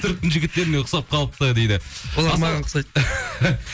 түріктің жігіттеріне ұқсап қалыпты дейді